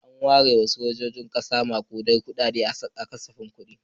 An ware wa sojojin ƙasa maƙudan kuɗaɗe a kasafin kuɗi.